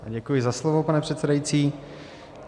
Děkuji za slovo, pane předsedající.